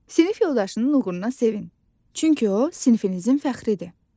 Sinif yoldaşının uğuruna sevin, çünki o, sinifinizin fəxridir.